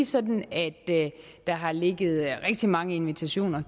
sådan at der har ligget rigtig mange invitationer